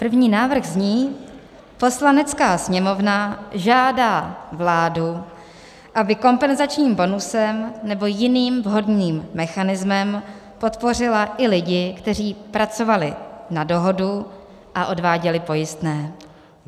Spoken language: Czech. První návrh zní: "Poslanecká sněmovna žádá vládu, aby kompenzačním bonusem nebo jiným vhodným mechanismem podpořila i lidi, kteří pracovali na dohodu a odváděli pojistné."